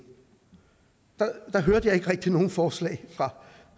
der hørte jeg ikke rigtig nogen forslag